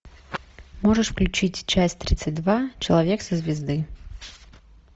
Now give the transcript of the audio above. можешь включить часть тридцать два человек со звезды